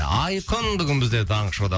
айқын бүгін бізде таңғы шоуда